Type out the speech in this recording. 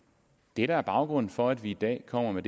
det der er baggrunden for at vi i dag kommer med